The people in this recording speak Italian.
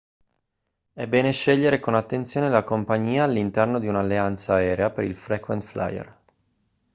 è bene scegliere con attenzione la compagnia all'interno di un'alleanza aerea per il frequent flyer